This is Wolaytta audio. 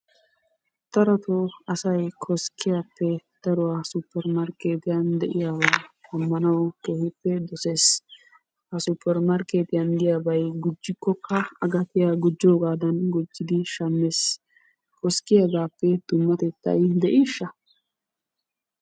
Darotoo asay koskkiyappe daruwa supper markkeetiyan de'iyabaa shammanawu keehippe dosees. Ha supper markkeetiya diyabay gujjikkokka gujjoogaadan gujjidi shammees. Koskkiyagaappe dummatettay de'ishsha?